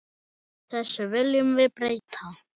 Þessu viljum við breyta.